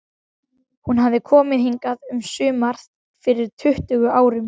Hún hafði komið hingað um sumar fyrir tuttugu árum.